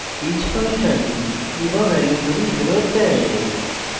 each function key/value জুড়ি ফেরত দেয়